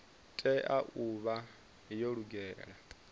tea u vha yo lugela